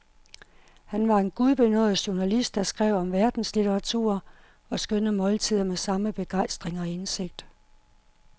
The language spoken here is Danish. Han var en gudbenådet journalist, der skrev om verdenslitteratur og skønne måltider med samme begejstring og indsigt.